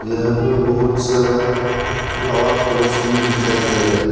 यहां पे बहोत सारा फ्लावर पॉट्स भी दिखाई दे रहा है।